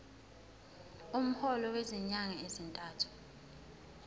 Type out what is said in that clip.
umholo wezinyanga ezintathu